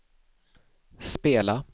spela